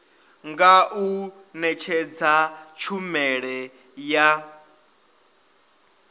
nga u netshedza tshumelo ya